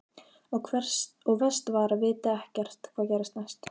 Og verst var að vita ekkert hvað gerðist næst.